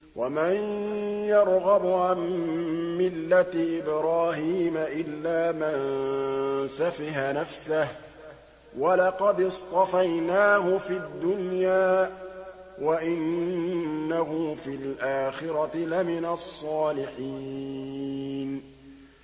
وَمَن يَرْغَبُ عَن مِّلَّةِ إِبْرَاهِيمَ إِلَّا مَن سَفِهَ نَفْسَهُ ۚ وَلَقَدِ اصْطَفَيْنَاهُ فِي الدُّنْيَا ۖ وَإِنَّهُ فِي الْآخِرَةِ لَمِنَ الصَّالِحِينَ